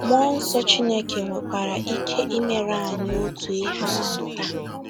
Mmụọ nsọ Chineke nwekwara ike imere anyị otu ihe ahụ taa.